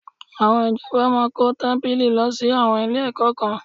Àwọn ìjọba máa kó tábìlì lọ sí àwọn ilé-ẹ̀kọ́ kan